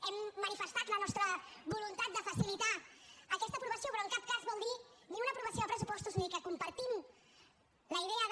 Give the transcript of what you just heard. hem manifestat la nostra voluntat de facilitar aquesta aprovació però en cap cas vol dir ni una aprovació de pressupostos ni que compartim la idea de